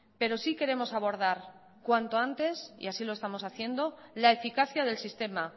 pero sí queremos abordar cuanto antes y así lo estamos haciendo la eficacia del sistema